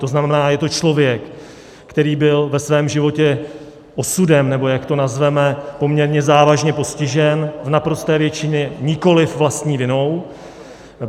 To znamená, je to člověk, který byl ve svém životě osudem, nebo jak to nazveme, poměrně závažně postižen, v naprosté většině nikoliv vlastní vinou.